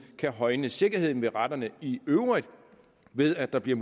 kan højne sikkerheden ved retterne i øvrigt ved at der bliver